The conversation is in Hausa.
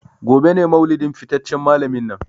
Gobe ​​ne maulidin fitaccen malamin nan.